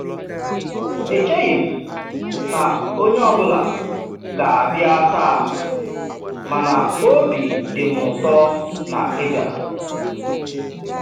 E cheghị m na onye ọ bụla ga-abịa taa, mana obi dị m ụtọ na ị́ bịara.